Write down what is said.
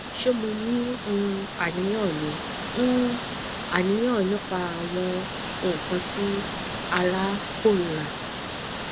ṣe mo ni um aniyan ni um aniyan nipa awọn nkan ti ara korira